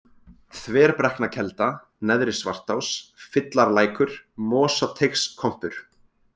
Þverbrekknakelda, Neðri-Svartás, Fyllarlækur, Mosateigskompur